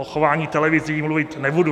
O chování televizí mluvit nebudu.